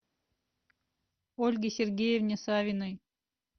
ольге сергеевне савиной